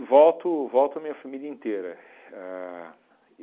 volto volto a minha família inteira. A